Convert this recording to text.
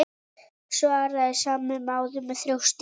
svaraði sami maður með þjósti.